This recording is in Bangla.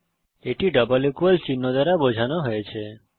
এটি ডাবল ইকুয়াল চিহ্ন দ্বারা বোঝানো হয়েছে